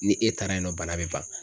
Ni e taara yen nɔ bana bɛ ban.